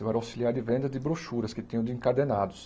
Eu era auxiliar de venda de brochuras que tinham de encadenados.